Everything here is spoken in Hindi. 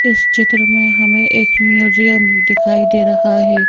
इस चित्र में हमें एक म्यूजियम दिखाई दे रहा है।